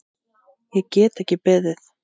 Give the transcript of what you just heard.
Ég get ekki beðið.